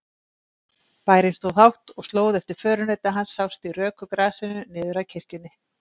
Bærinn stóð hátt og slóð eftir förunauta hans sást í röku grasinu niður að kirkjunni.